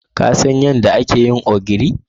Ka San yadda ake yin ogiri?